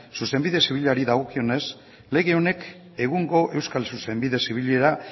zuzenbide zibilari dagokionez lege honek egungo euskal zuzenbide zibilera